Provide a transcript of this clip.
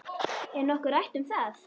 Er nokkuð rætt um það?